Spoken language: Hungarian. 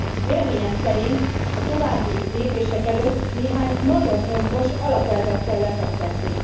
Véleményem szerint a további lépések előtt néhány nagyon fontos alapelvet kell lefektetni.